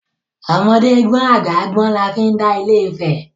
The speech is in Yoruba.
Ọmọdé gbọ́n àgbà gbọ́n la fi dá Ilé Ifẹ̀.